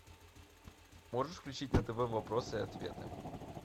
можешь включить на тв вопросы и ответы